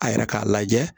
A yɛrɛ k'a lajɛ